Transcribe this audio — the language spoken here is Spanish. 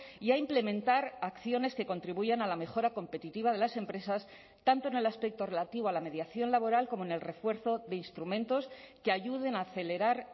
y a implementar acciones que contribuyan a la mejora competitiva de las empresas tanto en el aspecto relativo a la mediación laboral como en el refuerzo de instrumentos que ayuden a acelerar